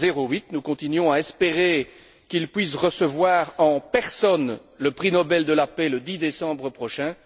08. Nous continuons à espérer qu'il puisse recevoir en personne le prix Nobel de la paix le 10 décembre prochain.